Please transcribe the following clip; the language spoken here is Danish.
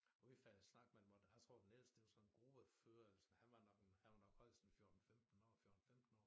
Og vi faldt i snak med dem og der jeg tror den ældste det var sådan en gruppefører eller sådan han var nok en han var nok højst en 14 15 år 14 15 år